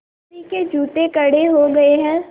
किसी के जूते कड़े हो गए हैं